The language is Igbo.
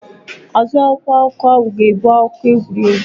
Azụ akwụkwọ akụkọ ahụ ga-ebu akụkọ egwuregwu.